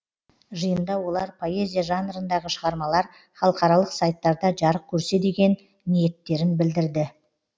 жиында олар поэзия жанрындағы шығармалар халықаралық сайттарда жарық көрсе деген ниеттерін білдірді